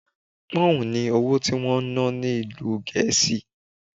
Pọ́ǹhun ni owó tí wón ná ni ìlú Gẹ̀ẹ́sì.